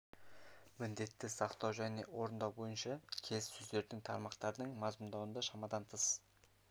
міндетті сақтау және орындау бойынша келіссөздердің тармақтарын мазмұндауда шамадан тыс